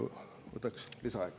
Võtaks lisaaega.